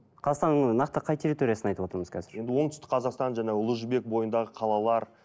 қазақстанның нақты қай территориясын айтып отырмыз қазір енді оңтүстік қазақстан және ұлы жібек бойындағы қалалар